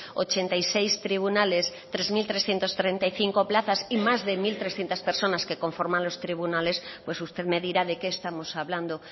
ochenta y seis tribunales tres mil trescientos treinta y cinco plazas y más de mil trescientos personas que conforman los tribunales pues usted me dirá de qué estamos hablando